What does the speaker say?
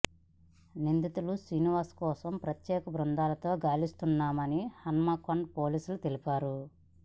నిందితుడు శ్రీనివాస్ కోసం ప్రత్యేక బృందాలతో గాలిస్తున్నామని హన్మకొండ పోలీసులు తెలిపారు